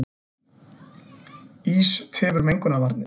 Ís tefur mengunarvarnir